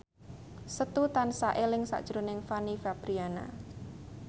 Setu tansah eling sakjroning Fanny Fabriana